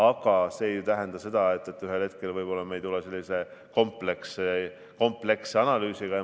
Aga see ei tähenda seda, et ühel hetkel me ei või tulla sellise kompleksse analüüsiga.